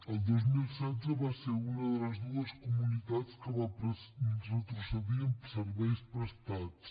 el dos mil setze va ser una de les dues comunitats que va retrocedir en serveis prestats